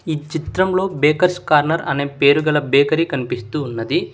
ఈ చిత్రంలో bakers corner అనే పేరుగల బేకరి కన్పిస్తూ ఉన్నది.